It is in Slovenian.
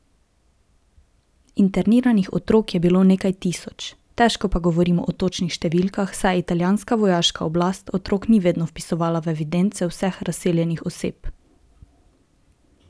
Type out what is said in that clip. Interniranih otrok je bilo nekaj tisoč, težko pa govorimo o točnih številkah, saj italijanska vojaška oblast otrok ni vedno vpisovala v evidence vseh razseljenih oseb.